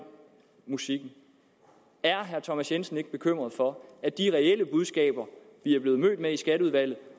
musikken er herre thomas jensen ikke bekymret for at de reelle budskaber vi er blevet mødt med i skatteudvalget